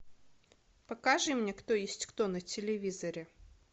покажи мне кто есть кто на телевизоре